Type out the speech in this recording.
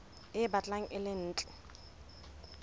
e batlang e le ntle